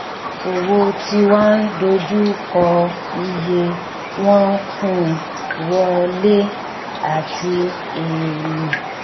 òwò ti wa ń dojú kọ iye wọn fún wọlé àti èèlò